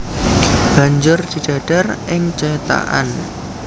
Banjur didadar ing cethakan